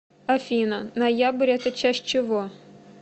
афина ноябрь это часть чего